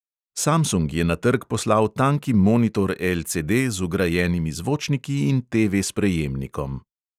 Samsung je na trg poslal tanki monitor LCD z vgrajenimi zvočniki in TV-sprejemnikom.